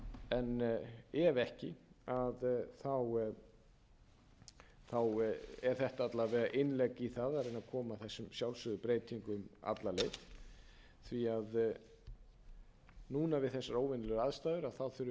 en ef ekki er þetta alla vega innlegg í það að reyna að koma þessum sjálfsögðu breytingum alla leið því núna vi þessar óvenjulegu aðstæður þurfum við að